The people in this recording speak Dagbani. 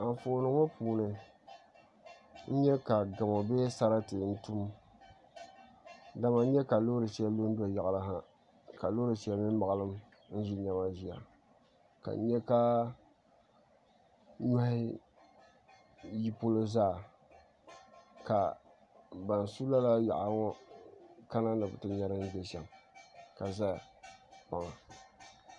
N nyɛ ka gamo bee sarati n tum dama n nyɛ ka loori shɛli lu n do yaɣali ha ka loori shɛli mii maɣalim n ʒi niɛma ʒiya ka n nyɛ ka nyohi yi polo zaa ka ban su lala yaɣali ŋɔ kana ni bi ti nyɛ din bɛ shɛm ka ʒɛya